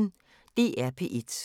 DR P1